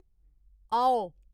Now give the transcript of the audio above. औ